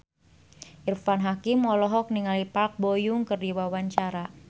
Irfan Hakim olohok ningali Park Bo Yung keur diwawancara